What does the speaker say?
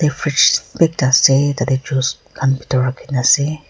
fridge ekta ase tarte juice khan bethor rakhi kina ase.